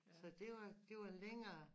Så det var det var længere